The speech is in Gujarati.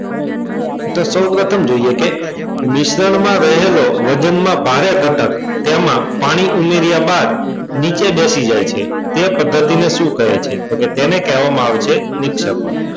તો સૌ પ્રથમ જોઈએ કે મિશ્રણમાં રહેલો વજનમાં ભારે તથા તેમાં પાણી ઉમેર્યા બાદ નીચે બેસી જાય છે તે પદ્ધતિને શું કહે છે? તો કે તેને કહેવામાં આવે છે નિક્ષેપણ.